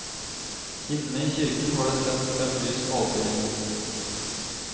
Inne i kirken var det tent fem lys på alterringen.